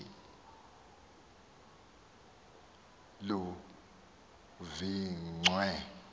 udonga oluphakathi luvingciwe